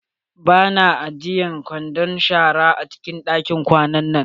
Ba na ajiyan kwandon zuba shara a cikin ɗakin kwana na.